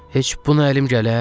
Heç buna əlim gələr?